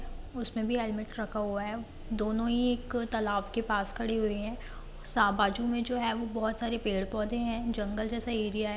उसमें भी हेलमेट रखा हुआ है दोनों ही एक तालाब के पास खड़ी हुई है सा-बाजू में जो है वो बहुत सारे पेड़ पौधे हैं जंगल जैसा रिया है।